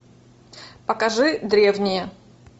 покажи древние